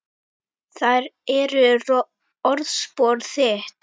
Þær eru orðspor þitt.